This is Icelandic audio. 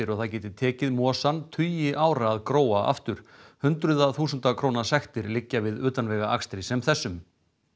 og það geti tekið mosann tugi ára að gróa aftur hundraða þúsunda sektir liggja við utanvegaakstri sem þessum